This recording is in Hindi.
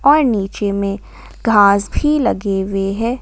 और नीचे में घास भी लगी हुई हैं।